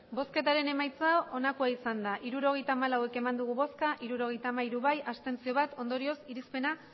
emandako botoak hirurogeita hamalau bai hirurogeita hamairu abstentzioak bat ondorioz irizpena